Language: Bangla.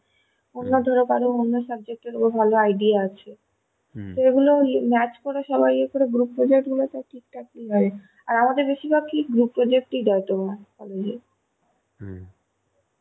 অন্যে ধরো কারো অন্য subject এর উপর ভালো idea আছে সেগুলো ইয়ে match করে সবাই group project গুলো তাও ঠিক ঠাক ই হয় আর আমাদের কি বেশির ভাগ group project দেয় college এ